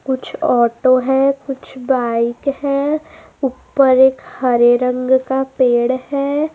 कुछ ऑटो है कुछ बाइक है ऊपर एक हरे रंग का पेड़ है।